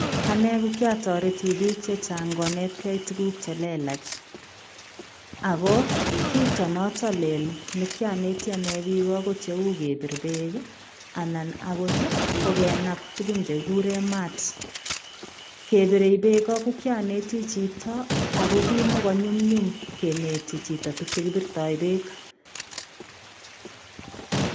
Ane ko kiataretii biik chechaang konetkei tuguuk che lelaach ago kitoo notoon lel nekianetii ane biik ko cheuu kebiir beek ii anan akoot ii kenaap tuguuk chekikuren mats , kebirei beek ko kiyanetii chitoo ako kimakonyunyum kinetii chitoo chekibirtoi beek.